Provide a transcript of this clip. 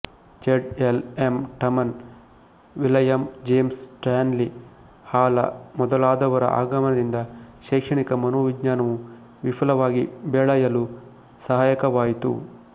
ಜಡ್ L M Terman William James Stanley Hall ಮೊದಲಾದವರ ಆಗಮನದಿಂದ ಶೈಕ್ಷಣಿಕ ಮನೋವಿಜ್ಞಾನವು ವಿಪುಲವಾಗಿ ಬೆಳಯಲು ಸಹಾಯಕವಾಯಿತು